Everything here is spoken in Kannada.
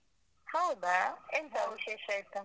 ಹೌದಾ. ಎಂತ? ಹೌದು. ವಿಶೇಷ ಇತ್ತ?